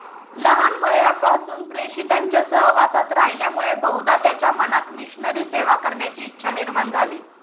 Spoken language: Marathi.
लहान वयापासून प्रेषितांच्या सहवासात राहिल्यामुळे बहुधा त्याच्या मनात मिशनरी सेवा करण्याची इच्छा निर्माण झाली.